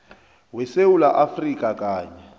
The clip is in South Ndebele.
wesewula afrika kanye